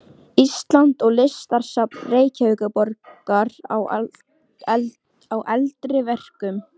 Íslands og Listasafns Reykjavíkurborgar á eldri verkum.